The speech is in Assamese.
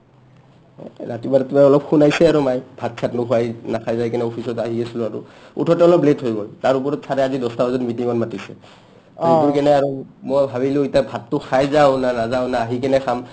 অ ৰাতিপুৱাই ৰাতিপুৱাই অ শুনাইছে আৰু মাই ভাত চাত্ নোখোৱাই নাখাই যাই কিনে officeত আহি আছলো আৰু অহ্ উঠোতে অলপ late হৈ গ'ল তাৰে ওপৰত sir য়ে আজি দছটা বাজাত meeting ত মাতিছে দিনটোৰ কাৰণে আৰু মই ভাবিলো আৰু ভাতটো খাই যাও না নাযাও না আহিকিনে খাম